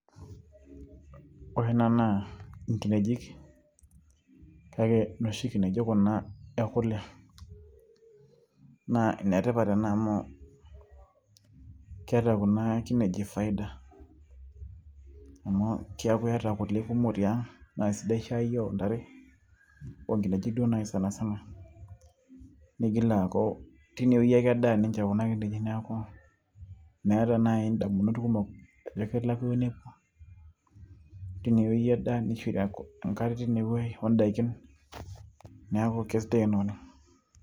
Ore ena naa inkinejik kake inoshi kineji kuna ekule. Naa inetipat ena amu keeta kuna kineji faida amu keeku iyata kule kumok tiang', naa sidai shaai oontare oonkineji duo naai sanisana, neigil aaku teine wueji ake edaa ninche kuna kineji neeku meeta naaji ndamunot kumok ajo kelakua ewueji nepuo, teine wueji edaa neishori enkare teine wueji ondaiki neeku keisidai ena oleng'.